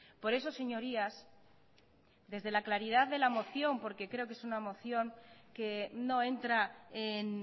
por eso señorías desde la claridad de la moción porque creo que es una moción que no entra en